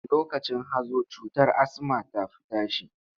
Lokacin hazo cutar asma ta fi tashi.